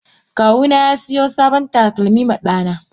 Kawuna yasiyo sabon takalmi ma Dana.